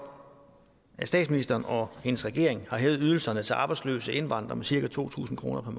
at statsministeren og hendes regering har hævet ydelserne til arbejdsløse indvandrere med cirka to tusind kroner